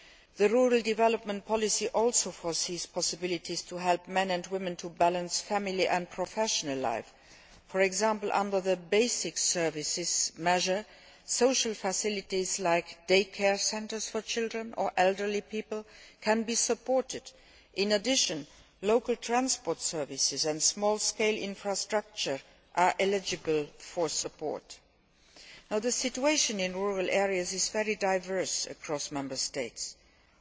The rural development policy also foresees possibilities to help men and women to balance family and professional life. For example, under the basic services measure, social facilities like day care centres for children or elderly people can be supported. In addition, local transport services and small scale infrastructure are eligible for support. The situation in rural areas is very diverse across Member States, including